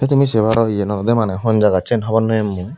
tumi sey paro yen hon jagot hon no pem mui.